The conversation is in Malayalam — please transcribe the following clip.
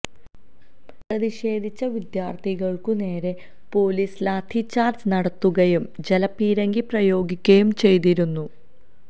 പ്രതിഷേധിച്ച വിദ്യാർഥികൾക്കു നേരെ പൊലീസ് ലാത്തിച്ചാർജ് നടത്തുകയും ജലപീരങ്കി പ്രയോഗിക്കുകയും ചെയ്തിരുന്നു